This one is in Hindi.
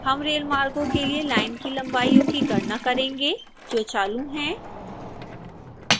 हम रेलमार्गों के लिए लाइन की लंबाइओं की गणना करेंगे जो चालू हैं